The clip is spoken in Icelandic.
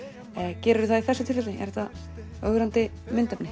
gerirðu það í þessu tilfelli er þetta ögrandi myndefni